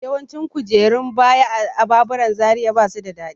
Yawancin kujerun baya a baburan Zaria ba su da daɗi.